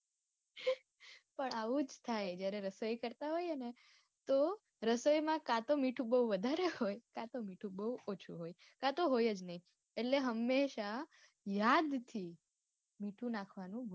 પણ આવું જ થાય જયારે રસોઈ કરતા હોય એને તો રસોઈમાં કાતો મીઠું બૌ વધારે હોય તો મીઠું બૌ ઓછું હોય કાતો હોય જ નઈ એટલે હંમેશા યાદ થી મીઠું નાખવાનું